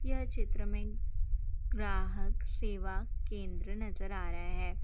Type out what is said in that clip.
यह चित्र में ग्राहक सेवा केंद्र नज़र आ रहा है।